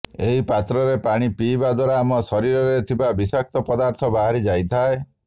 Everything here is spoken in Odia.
ଏହି ପାତ୍ରରେ ପାଣି ପିଇବା ଦ୍ୱାରା ଆମ ଶରୀରରେ ଥିବା ବିଷାକ୍ତ ପଦାର୍ଥ ବାହାରି ଯାଇଥାଏ